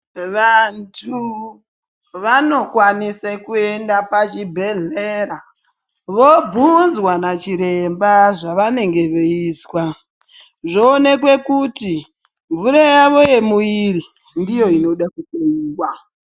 Vantu vanokwanise kuenda pachibhedhlera vobvunzwa nachiremba zvavanenge veizwa. Zvoonekwa kuti mvura yavo yemuviri ndiyo inoda kuhloyiwa.